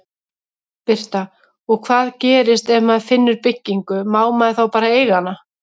Birta: Og hvað gerist ef maður finnur byggingu, má maður þá eiga hana?